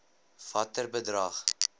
watter bedrag